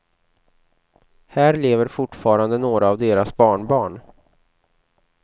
Här lever fortfarande några av deras barnbarn.